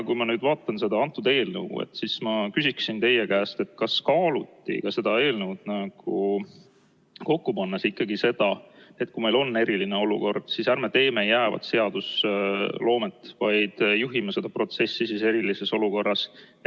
Kui ma nüüd vaatan seda eelnõu, siis ma küsin teie käest: kas kaaluti ka seda eelnõu kokku pannes ikkagi seda, et kui meil on eriline olukord, siis ärme teeme jäävat seadusloomet, vaid juhime seda protsessi siis erilises olukorras?